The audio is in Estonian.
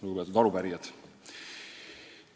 Lugupeetud arupärijad!